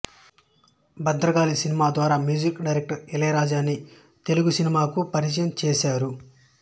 Bhadrakali cinema ద్వారా music director ఇళయరాజాని తెలుగు సినిమాకు పరిచయం చేసారు